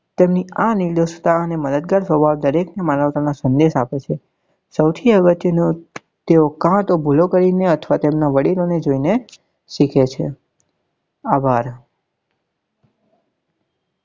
તેમની આ નીર્દેશ્તા અને મદદગાર સ્વભાવ દરેક માનવતા નો સંદેશ આપે છે સૌથી અગત્ય નું તેઓ કાતો ભૂલો કરી ને અથવા તેમના વડીલો ને જોઈ ને શીખે છે